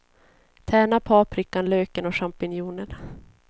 Tärna paprikan, löken och champinjonerna.